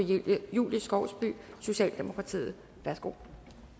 julie skovsby socialdemokratiet værsgo